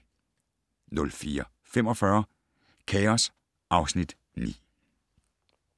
04:45: Chaos (Afs. 9)